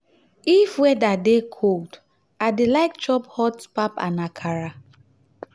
if weather dey cold i dey like chop hot pap and akara